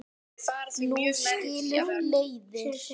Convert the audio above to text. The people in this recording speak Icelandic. Nú skilur leiðir.